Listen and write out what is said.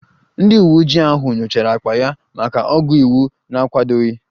Ndị uweojii ahụ nyochara akpa ya maka ọgwụ iwu na-akwadoghị